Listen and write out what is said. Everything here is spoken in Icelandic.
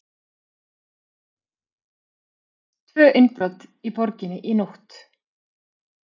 Tvö innbrot í borginni í nótt